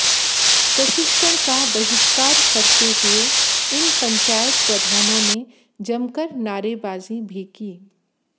प्रशिक्षण का बहिष्कार करते हुए इन पंचायत प्रधानों ने जमकर नारेबाजी भी की